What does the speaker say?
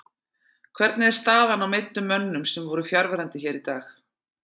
Hvernig er staðan á meiddum mönnum sem voru fjarverandi hér í dag?